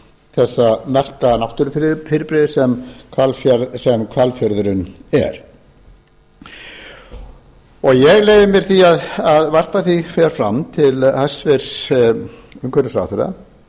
þessa merka náttúrufyrirbrigðis sem hvalfjörðurinn er ég leyfi mér því að varpa hér fram til hæstvirts umhverfisráðherra hvort